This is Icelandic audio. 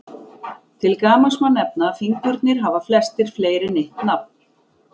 Til gamans má nefna að fingurnir hafa flestir fleiri en eitt nafn.